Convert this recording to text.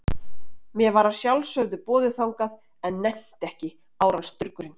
Mér var að sjálfsögðu boðið þangað, en nennti ekki, árans durgurinn.